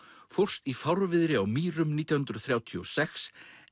fórst í fárviðri á Mýrum nítján hundruð þrjátíu og sex